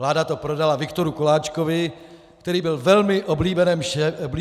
Vláda to prodala Viktoru Koláčkovi, který byl velmi oblíbeným šéfem OKD.